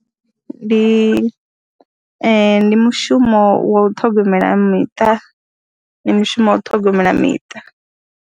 Ndi mushumo wa u ṱhogomela miṱa, ndi mushumo wa u ṱhogomela miṱa.